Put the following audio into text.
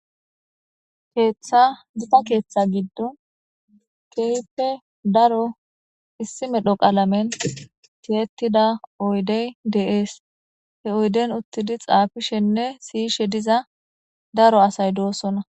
Gita keetha gidon keehippe daro issi medho qalamen tiyetida oydey dees he oyden uttidi xaafishenne siyishe diza daro asay doosona